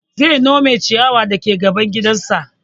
Zai nome ciyawar dake gaban gidan sa